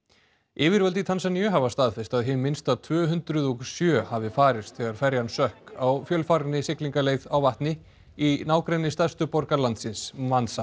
yfirvöld í Tansaníu hafa staðfest að hið minnsta tvö hundruð og sjö hafi farist þegar ferjan sökk á fjölfarinni siglingaleið á vatni í nágrenni stærstu borgar landsins